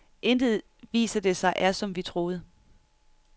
Intet, viser det sig, er, som vi troede.